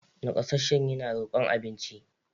Nakasasshen yana rokon abinci.